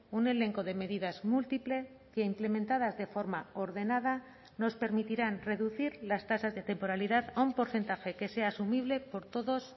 un elenco de medidas múltiple que implementadas de forma ordenada nos permitirán reducir las tasas de temporalidad a un porcentaje que sea asumible por todos